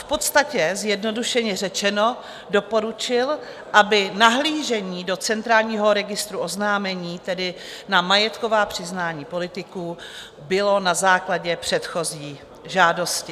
V podstatě - zjednodušeně řečeno - doporučil, aby nahlížení do Centrálního registru oznámení, tedy na majetková přiznání politiků, bylo na základě předchozí žádosti.